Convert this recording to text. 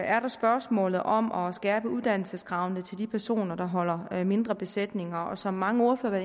er der spørgsmålet om om at skærpe uddannelseskravene til de personer der holder mindre besætninger og som mange ordførere